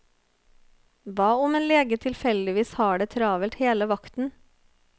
Hva om en lege tilfeldigvis har det travelt hele vakten.